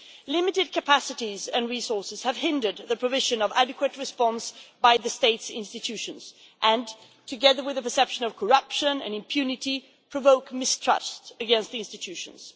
Limited capacities and resources have hindered the provision of an adequate response by the State's institutions, and together with a perception of corruption and impunity, provoke mistrust of the institutions.